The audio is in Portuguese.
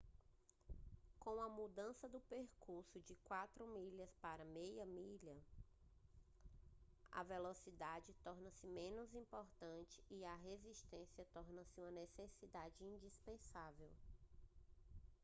com a mudança do percurso de quarto de milha para meia milha - a velocidade torna-se menos importante e a resistência torna-se uma necessidade indispensável